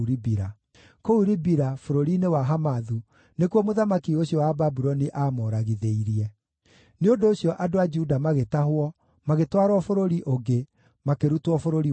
Kũu Ribila, bũrũri-inĩ wa Hamathu, nĩkuo mũthamaki ũcio wa Babuloni aamoragithĩirie. Nĩ ũndũ ũcio andũ a Juda magĩtahwo, magĩtwarwo bũrũri ũngĩ, makĩrutwo bũrũri wao.